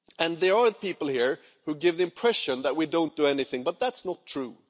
There are people here who give the impression that we don't do anything, but that's not true.